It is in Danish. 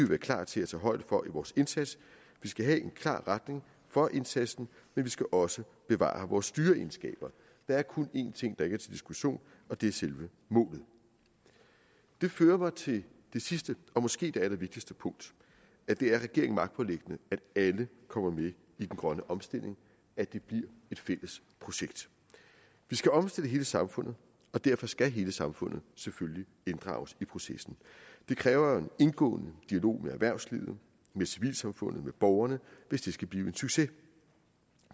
være klar til at tage højde for i vores indsats vi skal have en klar retning for indsatsen men vi skal også bevare vores styreegenskab der er kun en ting der ikke er til diskussion og det er selve målet det fører mig til det sidste og måske det allervigtigste punkt at det er regeringen magtpåliggende at alle kommer med i den grønne omstilling at det bliver et fælles projekt vi skal omstille hele samfundet og derfor skal hele samfundet selvfølgelig inddrages i processen det kræver en indgående dialog med erhvervslivet med civilsamfundet med borgerne hvis det skal blive en succes